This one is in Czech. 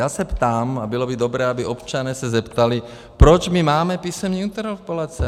Já se ptám, a bylo by dobré, aby občané se zeptali, proč my máme písemné interpelace.